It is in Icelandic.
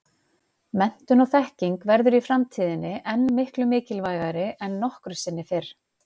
Menntun og þekking verður í framtíðinni enn miklu mikilvægari en nokkru sinni fyrr.